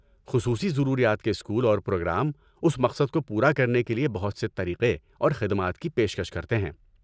خصوصی ضروریات کے اسکول اور پروگرام اس مقصد کو پورا کرنے کے لیے بہت سے طریقے اور خدمات کی پیشکش کرتے ہیں۔